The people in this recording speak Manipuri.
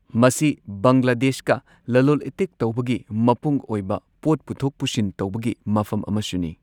ꯃꯁꯤ ꯕꯪꯒ꯭ꯂꯥꯗꯦꯁꯀ ꯂꯂꯣꯜ ꯏꯇꯤꯛ ꯇꯧꯕꯒꯤ ꯃꯄꯨꯡ ꯑꯣꯏꯕ ꯄꯣꯠ ꯄꯨꯊꯣꯛ ꯄꯨꯁꯤꯟ ꯇꯧꯕꯒꯤ ꯃꯐꯝ ꯑꯃꯁꯨꯅꯤ꯫